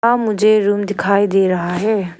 आ मुझे रूम दिखाई दे रहा है।